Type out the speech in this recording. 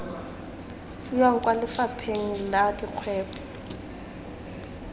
fiwang kwa lefapheng la dikgwebo